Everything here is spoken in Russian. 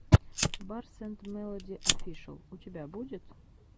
барс энд мелоди офишэл у тебя будет